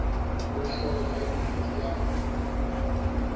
ho hloho ya yuniti ya